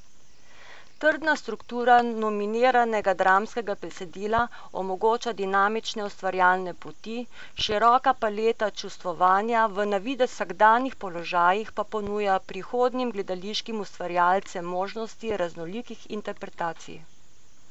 Trdna struktura nominiranega dramskega besedila omogoča dinamične ustvarjalne poti, široka paleta čustvovanja v na videz vsakdanjih položajih pa ponuja prihodnjim gledališkim ustvarjalcem možnosti raznolikih interpretacij.